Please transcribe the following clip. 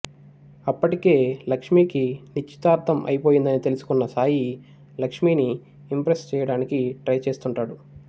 అప్పటికే లక్ష్మీకి నిశ్చితార్ధం అయిపోయిందని తెలుసుకున్న సాయి లక్ష్మీని ఇంప్రెస్ చెయ్యడానికి ట్రై చేస్తుంటాడు